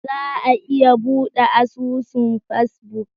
Za a iya bude asusun Facebook?